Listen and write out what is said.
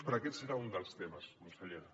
però aquest serà un dels temes consellera